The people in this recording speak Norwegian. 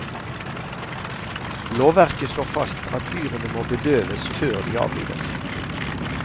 Lovverket slår fast at dyrene må bedøves før de avlives.